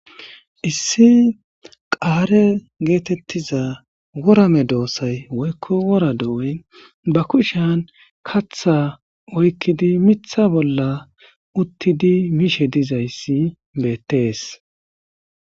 issi qaare geetettiza worame doossay woykko wora do'oy ba kushean katha oykkidi mitha bolla uttidi miishe dizayssi beettees.